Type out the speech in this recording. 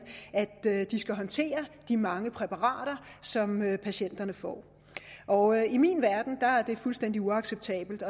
de skal håndtere de mange præparater som patienterne får og i min verden er det fuldstændig uacceptabelt